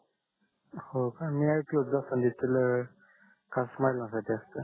हो का मी आयकल होत जास्वंदीच तेल खास महिलांसाठीच असतात